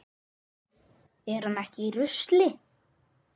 Er hann ekki í rusli?